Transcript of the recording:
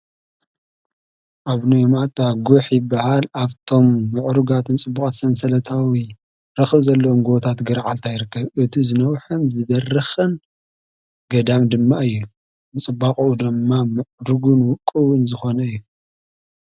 ኣቡነ ይማእታ ጉሒ ይባሃል፡፡ ካብቶም ምዕሩጋትን ፅቡቃትን ሰንሰለታዊ ረክቢ ዘለዎም ገቦ ገራዓልታ ይርከብ፡፡ እቲ ዝነወሐን ዝበረከን ገዳም ድማ እዩ፡፡ ብፅባቐኡ ድማ ምዕሩግን ውቅቡን ዝኮነ እዩ፡፡